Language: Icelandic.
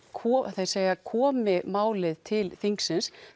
þeir segja komi málið til þingsins